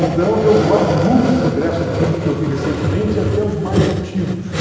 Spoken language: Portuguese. Então, eu guardo muitos ingressos de filmes que eu vi recentemente, até os mais antigos.